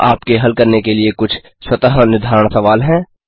यहाँ आपके हल करने के लिए कुछ स्वतः निर्धारण सवाल हैं